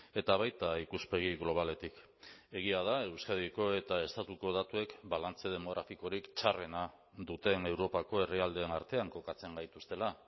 eta baita ikuspegi globaletik egia da euskadiko eta estatuko datuek balantze demografikorik txarrena duten europako herrialdeen artean kokatzen gaituztela